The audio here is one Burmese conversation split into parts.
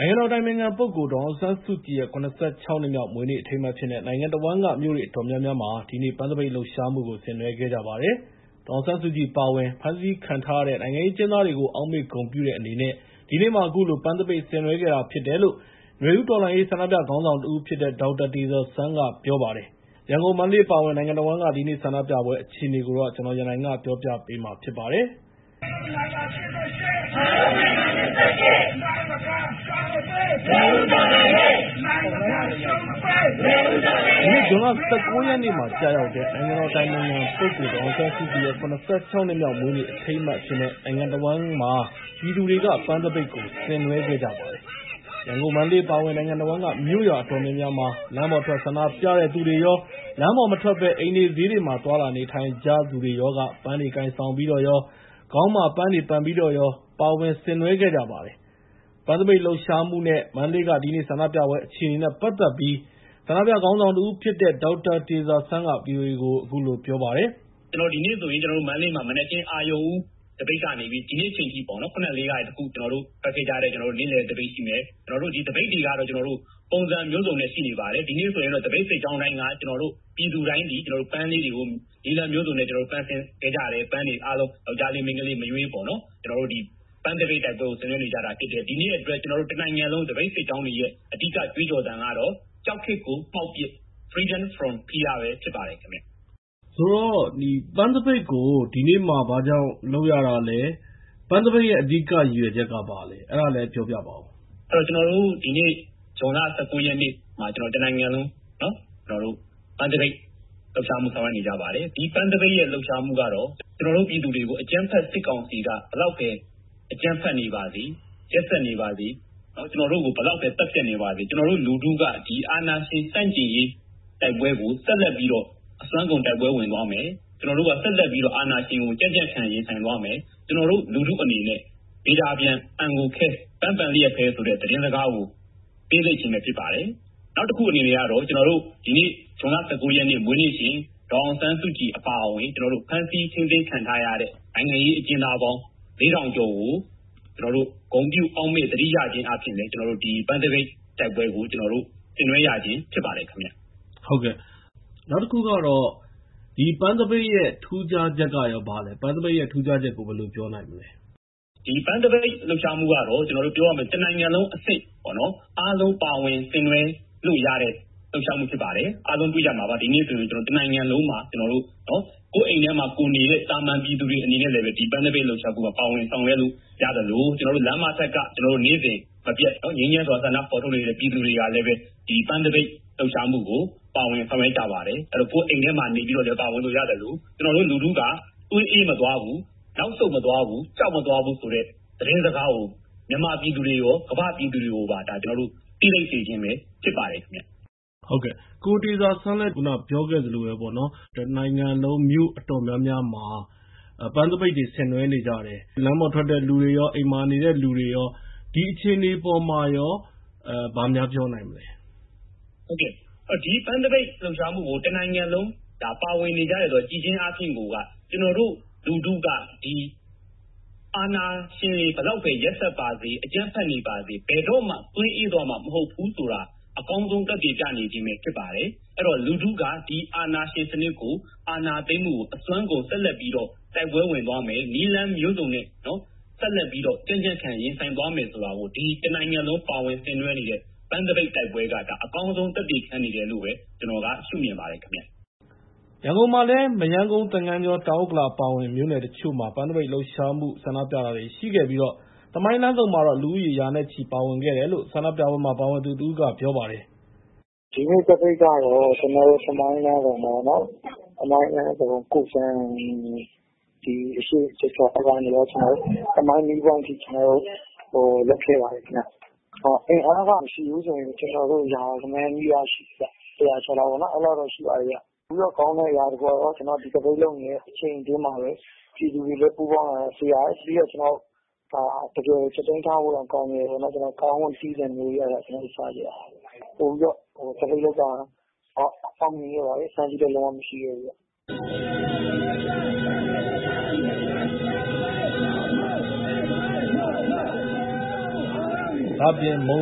နိုင်ငံတော်အတိုင်ပင်ခံပုဂ္ဂိုလ် ဒေါ်အောင်ဆန်းစုကြည်ရဲ့ ၇၆ နှစ်မြောက် မွေးနေ့အထိမ်းအမှတ် အဖြစ်နဲ့ နိုင်ငံတဝန်းက မြို့တွေအတော်များများမှာ ဒီနေ့ ပန်းသပိတ်လှုပ်ရှားမှုကို ဆင်နွဲှခဲ့ကြပါတယ်။ ဒေါ်အောင်ဆန်းစုကြည် အပါအဝင် ဖမ်းဆီးခံထားရတဲ့ နိုင်ငံရေးအကျဉ်းသားတွေကို အောက်မေ့ဂုဏ်ပြုတဲ့ အနေနဲ့ ဒီနေ့မှာ အခုလို ပန်းသပိတ်ဆင်နွဲှတာ ဖြစ်တယ်လို့ နွေဦးတော်လှန်ရေး ဆန္ဒပြခေါင်းဆောင်တဦးဖြစ်တဲ့ ဒေါက်တာတေဇာစန်းက ပြောလိုက်ပါတယ်။ ရန်ကုန်၊ မန္တလေး အပါအဝင် နိုင်ငံတဝန်းက ဒီနေ့ ဆန္ဒပြပွဲ အခြေအနေတွေကို ကိုရန်နိုင် စုစည်းတင်ပြထားပါတယ်။ ဒီနေ့ ဇွန်လ ၁၉ ရက်နေ့မှာ ကျရောက်တဲ့ နိုင်ငံတော်အတိုင်ပင်ခံပုဂ္ဂိုလ် ဒေါ်အောင်ဆန်းစုကြည်ရဲ့ ၇၆ နှစ်မြောက် မွေးနေ့အထိမ်းအမှတ် အဖြစ်နဲ့ နိုင်ငံတဝန်းမှာ ပြည်သူတွေက ပန်းသပိတ်တွေ ဆင်နွဲှခဲ့ကြပါတယ်။ ရန်ကုန်၊ မန္တလေး အပါအဝင် နိုင်ငံတဝန်းက မြို့ရွာ အတော်များများမှာ လမ်းပေါ်ထွက် ဆန္ဒပြတဲ့သူတွေရော လမ်းပေါ်မထွက်ဘဲ အိမ်တွေ၊ ဈေးတွေမှာ သွားလာနေထိုင်ကြသူတွေရောက ပန်းတွေကိုင်ဆောင်ပြီးတော့ရော ခေါင်းမှာ ပန်းတွေပန်ပြီးတော့ရော ပါဝင်ဆင်နွဲှခဲ့ကြပါတယ်။ ပန်းသပိတ်လှုပ်ရှားမှုနဲ့ မန္တလေးက ဒီနေ့ဆန္ဒပြပွဲ အခြေအနေနဲ့ ပတ်သက်ပြီး ဆန္ဒပြခေါင်းဆောင်တဦးဖြစ်တဲ့ ဒေါက်တာတေဇာစန်းက ဗွီအိုအေကို အခုလို ပြောပါတယ်။ “ကျနော်တို့ ဒီနေ့ဆိုရင် မန္တလေးမှာ မနက်ခင်း အရုဏ်ဦးသပိတ်ကနေ ဒီနေ့ခင်းအချိန်ထိ ခုနလေးက ထွက်ခဲ့ကြတဲ့ နေ့လယ်သပိတ်ရှိမယ်၊ ကျနော်တို့ သပိတ်တွေက ပုံစံမျိုးစုံနဲ့ ရှိနေပါတယ်။ ဒီနေ့ဆိုရင် ကျနော်တို့ သပိတ်စစ်ကြောင်းတိုင်းက ပြည်သူတိုင်းသည် ပန်းလေးတွေကို နည်းလမ်းမျိုးစုံနဲ့ ပန်ဆင်ခဲ့ကြတယ်။ အားလုံး ယောက်ျားလေး၊ မိန်းကလေး မရွေး ပန်းသပိတ်တိုက်ပွဲကို ဆင်နွဲှနေကြတာဖြစ်တယ်။ ဒီနေ့အတွက် ကျနော်တို့ တနိုင်ငံလုံး သပိတ်စစ်ကြောင်းတွေရဲ့ အဓိက ကြွေးကြော်သံကတော့ ကြောက်ခေတ်ကို မှောက်ပစ်၊ Freedom from Fear ပဲ ဖြစ်ပါတယ်။” ပန်းသပိတ်ကို ဒီနေ့ ဘာကြောင့်လုပ်ရတာလဲ၊ ပန်းသပိတ်ရဲ့ အဓိကရည်ရွယ်ချက်က ဘာလဲဆိုတာ ပြောပြပါဦး။ “ကျနော်တို့ ဒီနေ့ ဇွန်လ ၁၉ ရက်နေ့မှာ တနိုင်ငံလုံး ပန်းသပိတ်လှုပ်ရှားမှု ဆောင်ရွက်နေကြပါတယ်။ ဒီပန်းသပိတ်ရဲ့ လှုပ်ရှားမှုကတော့ ကျနော်တို့ ပြည်သူတွေကို အကြမ်းဖက်စစ်ကောင်စီက ဘယ်လောက်ပဲ အကြမ်းဖက်နေပါစေ၊ ရက်စက်နေပါစေ၊ ကျနော်တို့ကို ဘယ်လောက်ပဲ သတ်ဖြတ်နေပါစေ၊ ကျနော်တို့လူထုက အာဏာရှင်ဆန့်ကျင်ရေး တိုက်ပွဲကို ဆက်လက်ပြီးတော့ အစွမ်းကုန် တိုက်ပွဲဝင်သွားမယ်၊ အာဏာရှင်ကို ဆက်လက်ပြီးတော့ ကြံ့ကြံ့ခံ ရင်ဆိုင်သွားမယ်။ ကျနော်တို့လူထုအနေနဲ့ ဗေဒါပျံ အံကိုခဲ ပန်းပန်လျက်ပဲဆိုတဲ့ သတင်းစကားကို ပေးစေခြင်းပဲ ဖြစ်ပါတယ်။ နောက်တခုကတော့ ဒီနေ့ ဇွန်လ ၁၉ ရက်နေ့ မွေးနေ့ရှင် ဒေါ်အောင်ဆန်းစုကြည် အပါအဝင် ဖမ်းဆီးထိန်းသိမ်းခံထားရတဲ့ နိုင်ငံရေးအကျဉ်းသားပေါင်း ၄,၀၀၀ ကျော်ကို ဂုဏ်ပြု၊ အောက်မေ့၊ သတိရခြင်းအားဖြင့်လည်း ကျနော်တို့ ပန်းသပိတ်တိုက်ပွဲကို ဆင်နွဲှရခြင်း ဖြစ်ပါတယ်။” နောက်တခုကတော့ ဒီပန်းသပိတ်ရဲ့ ထူးခြားချက်က ဘာလဲ၊ ပန်းသပိတ်ရဲ့ ထူးခြားချက်ဆိုရင် ဘာလို့ပြောမလဲ။ “ဒီပန်းသပိတ်လှုပ်ရှားမှုကတော့ ပြောရမယ်ဆိုရင် တနိုင်ငံလုံးအဆင့်၊ အားလုံးပါဝင်ဆင်နွဲှလို့ရတဲ့ လှုပ်ရှားမှု ဖြစ်ပါတယ်။ အားလုံးသိကြမှာပါ၊ ဒီနေ့ဆိုရင် တနိုင်ငံလုံးမှာ ကိုယ့်အိမ်ထဲမှာ ကိုယ်နေတဲ့ သာမန်ပြည်သူတွေ အနေနဲ့လည်းပဲ ပန်းသပိတ်လှုပ်ရှားမှုမှာ ပါဝင်ဆောင်ရွက်လို့ ရသလို ကျနော်တို့ လမ်းမထက်က နေ့စဉ်မပြတ် ငြိမ်းချမ်းစွာ ဆန္ဒဖော်ထုတ်နေကြတဲ့ ပြည်သူတွေကလည်းပဲ ပန်းသပိတ်လှုပ်ရှားမှုကို ပါဝင်ဆောင်ရွက်ကြပါတယ်။ ကိုယ့်အိမ်ထဲမှာ နေပြီးတော့ ပါဝင်လို့ရသလို ကျနော်တို့လူထုက သွေးအေးမသွားဘူး၊ နောက်ဆုတ်မသွားဘူး၊ ကြောက်မသွားဘူးဆိုတဲ့ သတင်းစကားကို မြန်မာပြည်သူတွေကိုရော၊ ကမ္ဘာ့ပြည်သူတွေကိုပါ သိလိုက်စေခြင်းပဲ ဖြစ်ပါတယ်။” ကိုတေဇာစန်း ပြောခဲ့သလိုပဲ တနိုင်ငံလုံးက မြို့အတော်များများမှာ ပန်းသပိတ်တွေ ဆင်နွဲှကြတယ်။ လမ်းပေါ်ထွက်တဲ့သူတွေရော အိမ်မှာနေတဲ့သူတွေရော ဆင်နွဲှကြတယ်။ ဒီအခြေအနေအပေါ်မှာ ဘာများပြောနိုင်မလဲ။ “ဒီ ပန်းသပိတ်လှုပ်ရှားမှုကို တနိုင်ငံလုံး ပါဝင်နေကြတယ် ဆိုတာကို ကြည့်ခြင်းအားဖြင့် ကျနော်တို့လူထုက ဒီအာဏာရှင်တွေ ဘယ်လောက်ပဲ ရက်စက်ပါစေ၊ အကြမ်းဖက်နေပါစေ၊ ဘယ်တော့မှ သွေးအေးသွားမှာ မဟုတ်ဘူး ဆိုတာကို အကောင်းဆုံး သက်သေပြနေခြင်းပဲ ဖြစ်ပါတယ်။ အဲဒီတော့ လူထုက ဒီ အာဏာရှင်စနစ်ကို ဒီအာဏာသိမ်းမှုကို အစွမ်းကုန် ဆက်လက်ပြီးတော့ တိုက်ပွဲဝင်သွားမယ်၊ နည်းလမ်းမျိုးစုံနဲ့ ဆက်လက်ပြီးတော့ ကြံ့ကြံ့ခံ ရင်ဆိုင်သွားမယ် ဆိုတာကို တနိုင်ငံလုံး ပါဝင်ဆင်နွှဲနေတဲ့ ပန်းသပိတ်တိုက်ပွဲက အကောင်းဆုံး သက်သေခံနေတယ်လို့ ကျနော်က ရှုမြင်ပါတယ်။” ရန်ကုန်မှာလည်း မရမ်းကုန်း၊ သင်္ဃန်းကျွန်း၊ တောင်ဥက္ကလာ အပါအဝင် မြို့နယ်တချို့မှာ ပန်းသပိတ်လှုပ်ရှားမှု ဆန္ဒပြတာတွေ ရှိခဲ့ပြီး သမိုင်းလမ်းဆုံမှာတော့ လူဦးရေ ရာနဲ့ချီ ပါဝင်ခဲ့တယ်လို့ ဆန္ဒပြပွဲမှာ ပါဝင်သူတဦးက အခုလို ပြောပါတယ်။ “ဒီနေ့သပိတ်ကတော့ ကျနော်တို့ သမိုင်းလမ်းဆုံပေ့ါ သမိုင်းမီးပွိုင့်အထိ ကျနော်တို့ ရောက်ခဲ့ပါတယ်။ အင်အားက မရှိဘူးဆိုရင် ကျနော်တို့ ရာဂဏန်းနီးပါး ရှိတယ်ခင်ဗျ။ ၁၀၀ ကျော် အဲဒီလောက်တော့ ရှိပါတယ်။ ပြီးတော့ ကောင်းတာတခုကတော့ ကျနော်တို့ ဒီသပိတ်လုပ်နေတဲ့ အချိန်အတွင်းမှာပဲ ပြည်သူတွေလည်း ပူးပေါင်းလာတာ တွေ့ရတယ်။ ပြီးတော့ ကြက်သီးထဖို့ကောင်းတာကတော့ ကားတွေလည်း ဟွန်းတွေတီးသံတွေလည်း ကြားခဲ့ရတယ်။ သပိတ်လုပ်တာ ပိုပြီးတော့ အောင်မြင်ခဲ့ပါတယ်။ ဖမ်းဆီးခံရတာလည်း မရှိခဲ့ပါဘူး။” ဒါ့အပြင် မုံ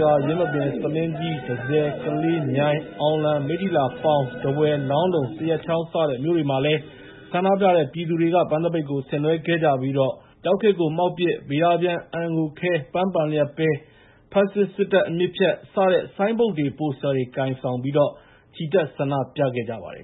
ရွာ၊ ယင်းမာပင်၊ ဆားလင်းကြီး၊ တန့်ဆည်၊ ကလေး၊ မြိုင်၊ အောင်လံ၊ မိတ္ထီလာ၊ ပေါင်၊ ထားဝယ်၊ လောင်းလုံ၊ သရက်ချောင်း စတဲ့မြို့တွေမှာလည်း ဆန္ဒပြပြည်သူတွေက ပန်းသပိတ်တွေ ဆင်နွဲှခဲ့ကြပြီး ကြောက်ခေတ်ကို မှောက်ပစ်၊ ဗေဒါပျံ အန်ကိုခဲ ပန်းပန်လျက်ပဲ၊ ဖက်ဆစ်စစ်တပ် အမြစ်ဖြတ် စတဲ့ဆိုင်းဘုတ်တွေ ပိုစတာတွေ ကိုင်ဆောင်ပြီး ချီတက်ဆန္ဒပြခဲ့ကြပါတယ်